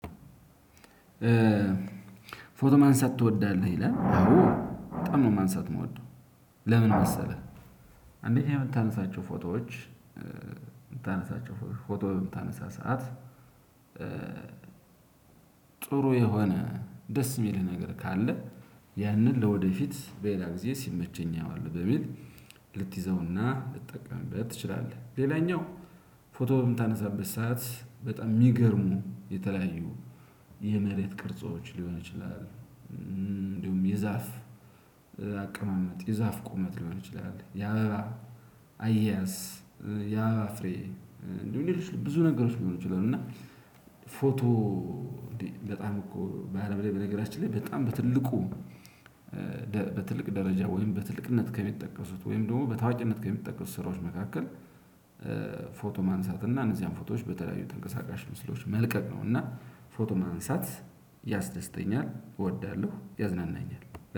ፎቶ ማንሳት ትወዳለህ ይላል? አዎ በጣም ነው ማንሳት እምወደው። ለምን መሰለህ። አንደኛ ምታነሳቸው ፎቶዎች። ምታነሳቸው ፎቶ በምታነሳ ሰዓት ጥሩ የሆነ ደስ ሚልህ ነገር ካለ። ያንን ለወደፊት በሌላ ጊዜ ሲመቸኝ አየዋለሁ በሚል። ልትይዘውና ልትጠቀምበት ትችላለህ። ሌላኛው ፎቶ በምታነሳበት ሰዓት በጣም ሚገርሙ የተለያዩ። የመሬት ቅርጾች ሊሆን ይችላል። እንዲሁም የዛፍ አቀማመጥ የዛፍ ቁመት ሊሆን ይችላል። የአበባ አየያስ። የአበባ ፍሬ እንዲሁም ሌችሎ ብዙ ነገሮች ሊሆኑ ይችላሉ። እና ፎቶ። እዴ በጣም እኮ በአለም ላይ በነገራችን ላይ በጣም በትልቁ። በትልቅ ደረጃ ወይም በትልቅነት ከሚጠቀሱት ወይም ደግሞ በታዋቂነት ከሚጠቀሱት ስራዎች መካከል። ፎቶ ማንሳት እና እነዚያን ፎቶዎች በተለያዩ ተንቀሳቃሽ ምስሎች መልቀቅ ነው። እና ፎቶ ማንሳት ያስደስተኛል እወዳለሁ ያዝናናኛል።